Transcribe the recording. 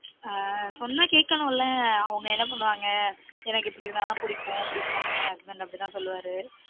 on சொன்ன கேட்கனும்ல அவங்க என்ன பண்ணுவாங்க எனக்கு இப்பிடி இருந்தா தான் புடிக்கும் அப்பிடிம்பாங்க என் husband அப்பிடி தான் சொல்லுவாரு